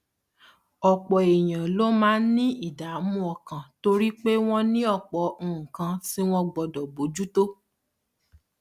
òpò èèyàn ló máa ń ní ìdààmú ọkàn torí pé wón ní òpò nǹkan tí wón gbódò bójú tó